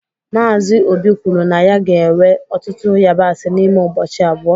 Mazị obi kwuru na ya ga-ewe ọtụtụ yabasị n'ime ụbọchị abụọ